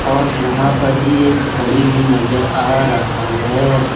और यहां पर एक घड़ी भी नजर आ रहा है।